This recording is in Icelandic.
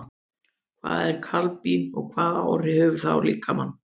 Hvað er kadmín og hvaða áhrif hefur það á líkamann?